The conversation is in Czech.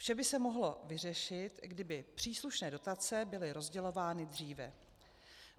Vše by se mohlo vyřešit, kdyby příslušné dotace byly rozdělovány dříve.